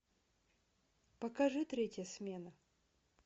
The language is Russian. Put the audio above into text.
покажи третья смена